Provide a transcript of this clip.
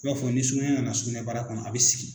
i b'a fɔ ni sugunɛ nana sugunɛbara kɔnɔ a bɛ sigi